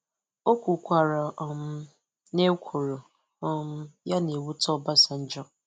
O kwukwara um na ekworo um ya na-ewute Obasanjo.